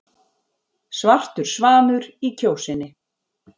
Svartur svanur í Kjósinni